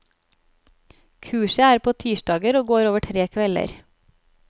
Kurset er på tirsdager og går over tre kvelder.